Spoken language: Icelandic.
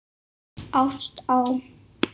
Ást á